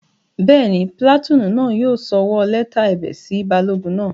Bẹ́ẹ̀ni, pìlàtúùnù náà yóò sọwọ́ lẹ́tà ẹ̀bẹ̀ sí balógun náà